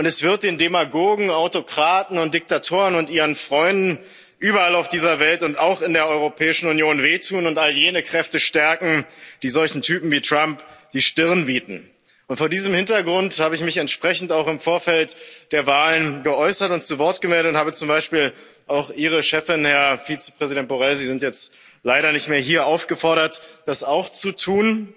Und es wird den Demagogen, Autokraten und Diktatoren und ihren Freunden überall auf dieser Welt und auch in der Europäischen Union wehtun und all jene Kräfte stärken, die solchen Typen wie Trump die Stirn bieten. Und vor diesem Hintergrund habe ich mich entsprechend auch im Vorfeld der Wahlen geäußert und zu Wort gemeldet und habe zum Beispiel auch Ihre Chefin, Herr Vizepräsident Borrell Sie sind jetzt leider nicht mehr hier aufgefordert, das auch zu tun.